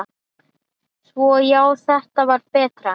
Svona já, þetta var betra.